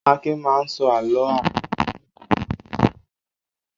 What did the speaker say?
Akin máa ń sọ àlọ́ àpagbè fún àwọn ọmọ rẹ̀ ní ìrọ́lẹ́.